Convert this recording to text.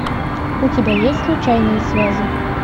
у тебя есть случайные связи